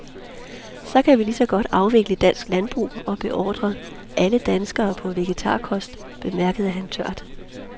Så kan vi lige så godt afvikle dansk landbrug og beordre alle danskere på vegetarkost, bemærkede han tørt.